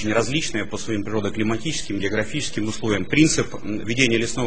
различное по своим природно климатическим географическим условиям принцип ведения лесного